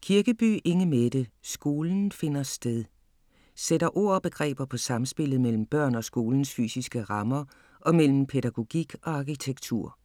Kirkeby, Inge Mette: Skolen finder sted Sætter ord og begreber på samspillet mellem børn og skolens fysiske rammer og mellem pædagogik og arkitektur.